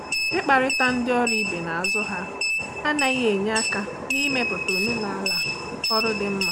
Ịkparịta ndị ọrụ ibe n’azụ ha anaghị enye aka n’ịmepụta omenaala ọrụ dị mma.